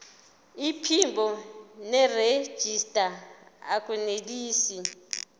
iphimbo nerejista akunelisi